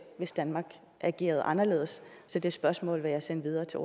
hvis danmark agerede anderledes så det spørgsmål vil jeg sende videre til